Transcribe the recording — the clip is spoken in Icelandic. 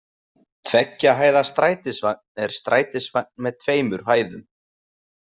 Tveggja hæða strætisvagn er strætisvagn með tveimur hæðum.